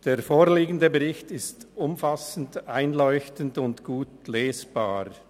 Der vorliegende Bericht ist umfassend, einleuchtend und gut lesbar.